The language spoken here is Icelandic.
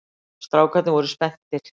Strákarnir voru spenntir.